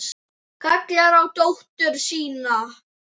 Kallar á dóttur sína inn.